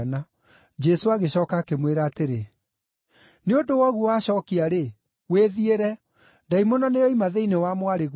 Jesũ agĩcooka akĩmwĩra atĩrĩ, “Nĩ ũndũ wa ũguo wacookia-rĩ, wĩthiĩre; ndaimono nĩyoima thĩinĩ wa mwarĩguo.”